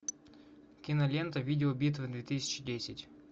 кинолента видеобитва две тысячи десять